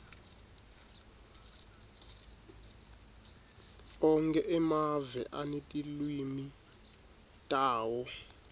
onkhe emave anetilwimi tawo